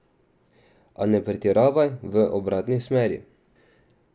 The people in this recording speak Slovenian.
A ne pretiravaj v obratni smeri.